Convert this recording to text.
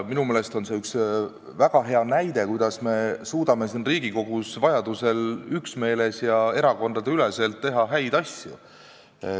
Minu meelest on see üks väga hea näide, kuidas me suudame siin Riigikogus vajadusel üksmeeles ja erakondadeüleselt häid asju teha.